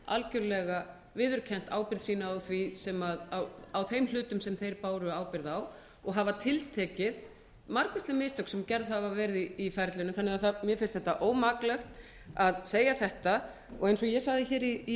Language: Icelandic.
algerlega viðurkennt ábyrgð sína á þeim hlutum sem þeir báru ábyrgð á og hafa tiltekið margvísleg mistök sem gerð hafa verið í ferlinu þannig að mér finnst þetta ómaklegt að segja þetta eins og ég sagði hér í ræðu minni í